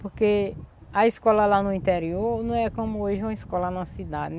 Porque a escola lá no interior não é como ir em uma escola na cidade.